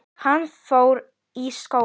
Hann fór þar í skóla.